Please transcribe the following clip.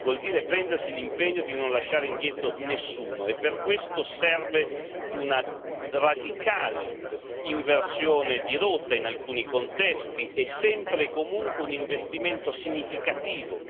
Vuol dire prendersi l'impegno di non lasciare indietro nessuno e per questo serve una radicale inversione di rotta in alcuni contesti e sempre e comunque un investimento significativo.